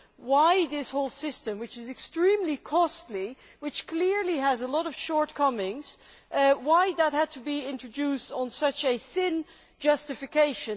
why this whole system which is extremely costly and which clearly has a lot of shortcomings had to be introduced on such a thin justification.